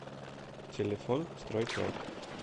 телефон стройторг